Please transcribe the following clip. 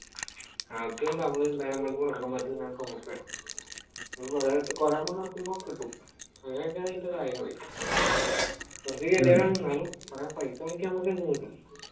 ആദ്യം നമ്മൾ ഡയമണ്ട് കൊടുക്കണം അതുകഴിഞ്ഞ് നമ്മൾ top up ചെയ്യണം കുറെ amount ഇറക്കുമ്പോൾ കിട്ടും അങ്ങനൊക്കെ ആണ് ഇതിന്റെ കാര്യങ്ങൾ കുറച്ച് എന്നാലും പൈസ മുടക്കിയാൽ നമ്മക്കെന്തും കിട്ടും